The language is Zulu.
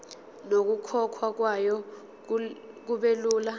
nokukhokhwa kwayo kubelula